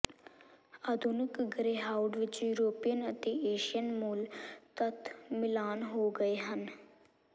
ਆਧੁਨਿਕ ਗਰੇਹਾਊਂਡ ਵਿੱਚ ਯੂਰਪੀਅਨ ਅਤੇ ਏਸ਼ੀਅਨ ਮੂਲ ਤੱਤ ਮਿਲਾਨ ਹੋ ਗਏ ਹਨ